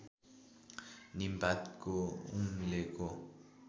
नीम पातको उम्लेको